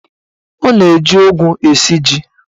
Ọ na-eji ụgụ esi ji.